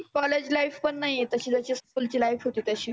college life पण नाही तशी जशी school ची life होती तशी.